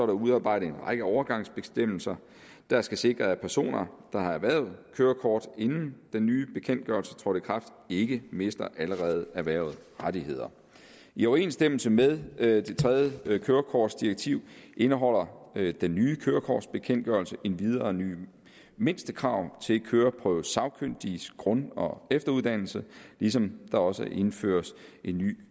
udarbejdet en række overgangsbestemmelser der skal sikre at personer der har erhvervet kørekort inden den nye bekendtgørelse trådte i kraft ikke mister allerede erhvervede rettigheder i overensstemmelse med det tredje kørekortdirektiv indeholder den nye kørekortbekendtgørelse endvidere nye mindstekrav til køreprøvesagkyndiges grund og efteruddannelse ligesom der også er indført en ny